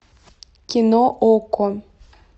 кино окко